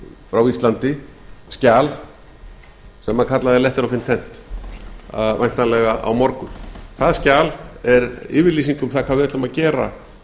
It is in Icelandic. frá íslandi skjal sem kallað er letter ocient væntanlega á morgun það skjal er yfirlýsing um það hvað við ætlum að gera á